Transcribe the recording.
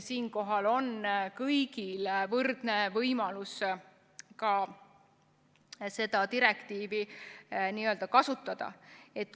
Siinkohal on kõigil võrdne võimalus seda direktiivi kasutada.